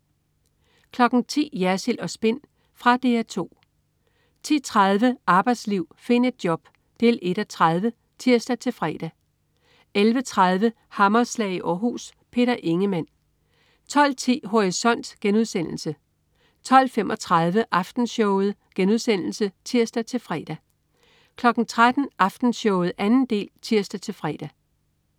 10.00 Jersild & Spin. Fra DR 2 10.30 Arbejdsliv. Find et job! 1:30 (tirs-fre) 11.30 Hammerslag i Århus. Peter Ingemann 12.10 Horisont* 12.35 Aftenshowet* (tirs-fre) 13.00 Aftenshowet 2. del (tirs-fre)